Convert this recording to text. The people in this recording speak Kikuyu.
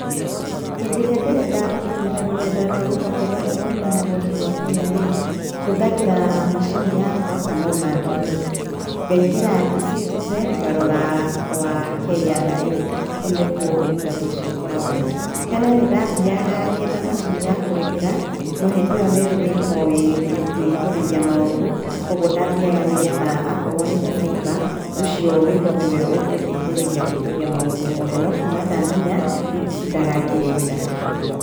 Hĩndĩ ĩria ndĩrenda gũkĩnyĩra rũrenda rwa kũũngania magoti rwa Kenya-rĩ, hũthagĩra macini yakwa kana ona thimũ, ngaingĩra E-citizen ngarora kwa KRA kũu nĩkuo ũtungata ũcio ũkoragwo, tene nĩndathiyaga ngetha macini ya kũrĩhĩra no hĩndĩ ĩyo nĩrĩrĩa itoĩ kwĩihũrĩrĩa maũndũ, kogwo ndathiaga nĩgetha akorwo nĩ ta cyber ũcio wĩho niwe ũkũndeithĩrĩria kwĩihoria maũndũ moothe, no kuuma ndamenya, rĩu nditindaga ngĩrĩhĩra.